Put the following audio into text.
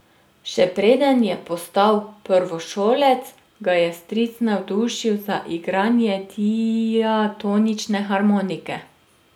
Še preden je postal prvošolec, ga je stric navdušil za igranje diatonične harmonike.